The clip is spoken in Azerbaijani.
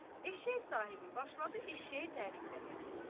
Eşşək sahibi başladı eşşəyini tərifləməyə.